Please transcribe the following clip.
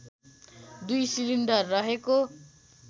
दुई सिलिन्डर रहेको